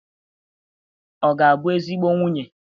Ọ ga-abụ ezigbo nwunye?